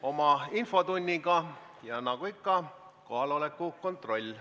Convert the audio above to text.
Alustame infotundi ja nagu ikka, kõigepealt kohaloleku kontroll.